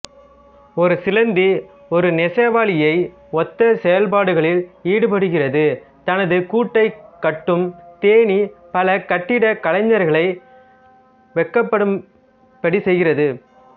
ஒரு சிலந்தி ஒரு நெசவாளியை ஒத்த செயல்பாடுகளில் ஈடுபடுகிறது தனது கூட்டைக் கட்டும் தேனீ பல கட்டிடக்கலைஞர்களை வெட்கப்படும்படி செய்கிறது